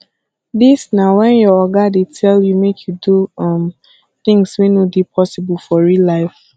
dis na when your oga dey tell you make you do um things wey no dey possible for real life